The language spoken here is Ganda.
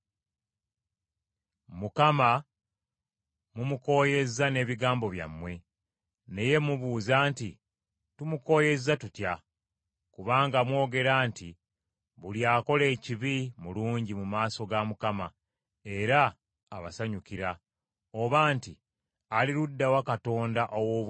Mukama mumukooyezza n’ebigambo byammwe. Naye mubuuza nti, “Tumukooyezza tutya?” Kubanga mwogera nti buli akola ekibi, mulungi mu maaso ga Mukama , era abasanyukira; oba nti, “Ali ludda wa Katonda ow’obwenkanya?”